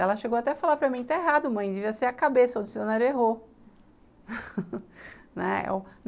Ela chegou até a falar para mim que está errado, mãe, devia ser a cabeça ou o dicionário errou, né,